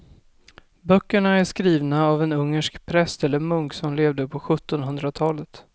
Böckerna är skrivna av en ungersk präst eller munk som levde på sjuttonhundratalet.